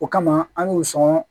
O kama an y'o sɔn